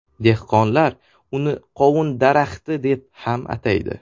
Dehqonlar uni qovun daraxti deb ham ataydi.